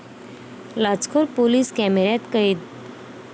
लाचखोर police कॅमेऱ्यात कैद